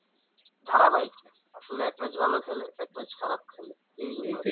ধারাবাহিক আসলে এক match ও খেলে এক match খারাপও খেলে এই